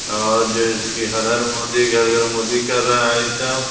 और जो है चुकीं हर-हर मोदी घर-घर मोदी कर रहा है ये सब ।